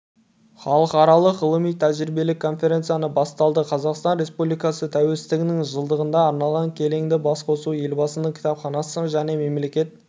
халықаралық ғылыми-тәжірибелік конференциясы басталды қазақстан республикасы тәуелсіздігінің жылдығына арналған келелі басқосуды елбасының кітапханасы және мемлекет